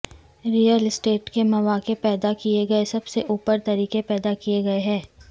real اسٹیٹ کے مواقع پیدا کیے گئے سب سے اوپر طریقے پیدا کیے گئے ہیں